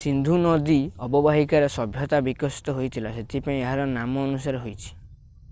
ସିନ୍ଧୁ ନଦୀ ଅବବାହିକାରେ ସଭ୍ୟତା ବିକଶିତ ହୋଇଥିଲା ସେଥିପାଇଁ ଏହାର ନାମ ଅନୁସାରେ ହୋଇଛି